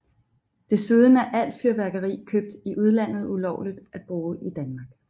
Desuden er alt fyrværkeri købt i udlandet ulovligt at bruge i Danmark